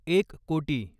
एक कोटी